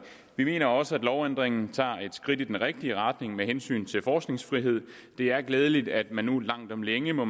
vi mener også at lovændringen tager et skridt i den rigtige retning med hensyn til forskningsfrihed det er glædeligt at man nu langt om længe må